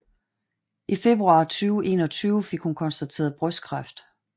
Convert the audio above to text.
I februar 2021 fik hun konstateret brystkræft